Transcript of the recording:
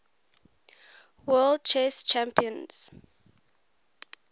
world chess champions